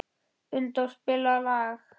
Unndór, spilaðu lag.